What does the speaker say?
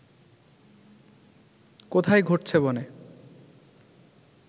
কোথায় ঘটছে বনে